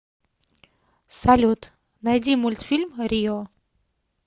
салют найди мультфильм рио